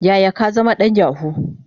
Yaya ka zama dan yahoo?